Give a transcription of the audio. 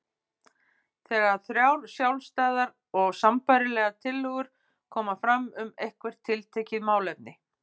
þegar þrjár sjálfstæðar og sambærilegar tillögur koma fram um eitthvert tiltekið málefni.